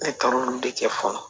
Ne taar'o de kɛ fɔlɔ